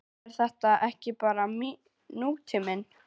Er þetta ekki bara nútíminn?